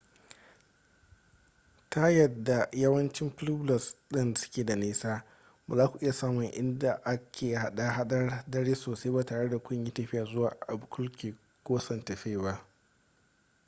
ta yadda yawancin pueblos ɗin suke da nisa ba za ku iya samun inda ake hada-hadar dare sosai ba tare da kun yi tafiya zuwa albuquerque ko santa fe ba